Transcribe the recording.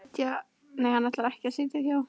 Hann ætlar ekki að sitja hjá